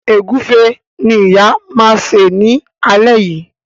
Egufe ní ìyá ma ṣe ní alé yí.